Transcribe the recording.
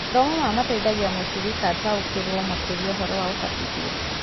Mathomo maya mateithagia mũciriki ataũkĩrwo makĩria ũhoro wa ũbatithio